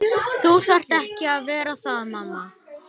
Þú þarft ekki að vera það mamma.